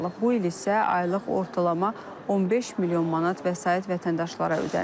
Bu il isə aylıq ortalama 15 milyon manat vəsait vətəndaşlara ödənilib.